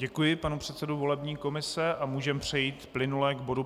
Děkuji panu předsedovi volební komise a můžeme přejít plynule k bodu